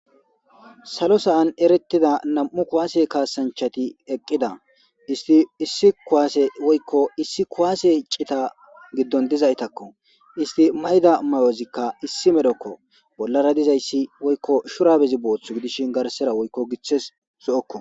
Salo sa'an eretida nam'u kuwase kaasanchati eqida issi kuwase woyko issi kuwase cita gidon dizaytako isti mayiza mayozika issi medhoko bolara dizaysi woyko shurabezi boothi gidishin garsera woyko gitazi zo'oko.